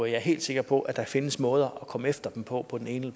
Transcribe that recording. jeg er helt sikker på at der findes måder at komme efter dem på på den ene